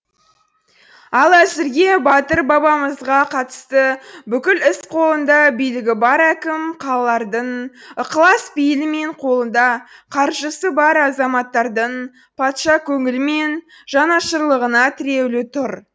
ал әзірге батыр бабамызға қатысты бүкіл іс қолында билігі бар әкім қалалардың ықылас пейілі мен қолында қаржысы бар азаматтардың патша көңілі мен жанашырлығына тіреулі тұр